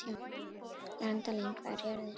Randalín, hvað er jörðin stór?